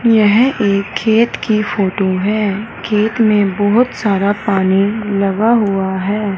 यह एक खेत की फोटो है खेत में बहुत सारा पानी लगा हुआ है।